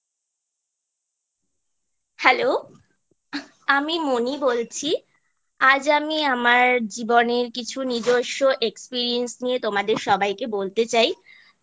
hello আমি মনি বলছি আজ আমি আমার জীবনের কিছু নিজস্ব Experiance নিয়ে তোমাদের সবাইকে বলতে চাই